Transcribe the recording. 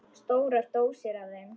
Stórar dósir af þeim.